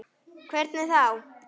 Sunna: Hvernig þá?